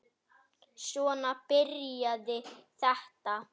Svona byrjaði þetta.